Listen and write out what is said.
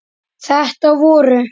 Þetta voru